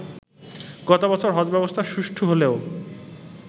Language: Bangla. গত বছর হজ ব্যবস্থা সুষ্ঠু হলেও